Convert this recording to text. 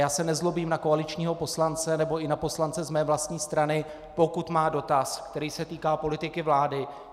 Já se nezlobím na koaličního poslance nebo i na poslance z mé vlastní strany, pokud má dotaz, který se týká politiky vlády.